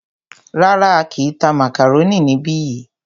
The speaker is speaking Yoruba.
Rárá,á kìí tá màkàrónì níbi yìí.